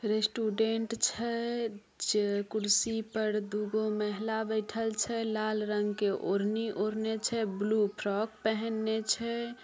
Student छै कुर्शी पर दू गो महिला बैठएल छै। लाल रंग के ओढ़नी ओरहेने छै ब्लू फ्रॉक पहेनने छै।